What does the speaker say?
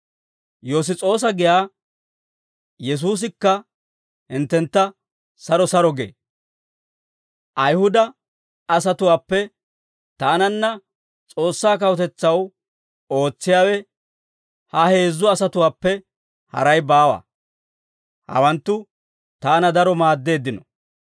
Yoss's'oosa giyaa Yesuusikka hinttentta saro saro gee; Ayihuda asatuwaappe taananna S'oossaa kawutetsaw ootsiyaawe, ha heezzu asatuwaappe haray baawa; hawanttu taana daro maaddeeddino.